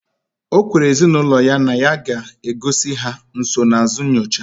Okwere ezi na ulo ya na ya ga egozi ha nsonaazụ nyocha